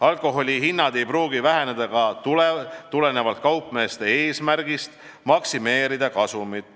Alkoholihinnad ei pruugi väheneda ka tulenevalt kaupmeeste eesmärgist kasumit maksimeerida.